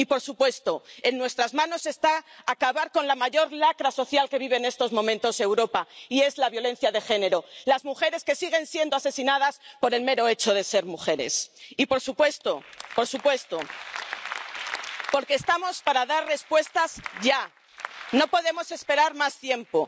Y, por supuesto, en nuestras manos está acabar con la mayor lacra social que vive en estos momentos Europa, que es la violencia de género, las mujeres que siguen siendo asesinadas por el mero hecho de ser mujeres Y, por supuesto, porque estamos para dar respuestas ya, no podemos esperar más tiempo.